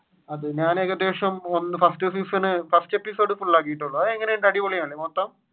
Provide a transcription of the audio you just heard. ഞാൻ ഏകദേശം first season, first episose full ആകിയിട്ടുള്ളു അതെങ്ങനെയുണ്ട് അടിപൊളിയാണോ മൊത്തം?